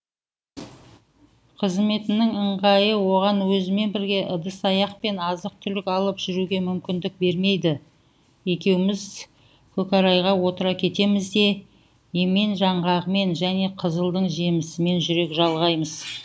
қызметінің ыңғайы оған өзімен бірге ыдыс аяқ пен азық түлік алып жүруге мүмкіндік бермейді екеуіміз көкорайға отыра кетеміз де емен жаңғағымен және қызылдың жемісімен жүрек жалғаймыз